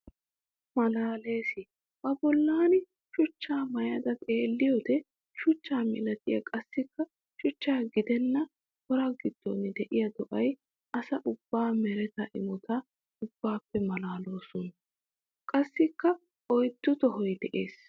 Malaales! Ba bollan shuchcha maayadda xeelliyodde shuchcha milattiya qassikka shuchcha gidenna wora gidon de'iya do'iyaa asaa ubaa meretta imotta ubbappe malalawussu. Qasssikk oyddu tohoy de'ees.